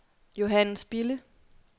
Johannes Bille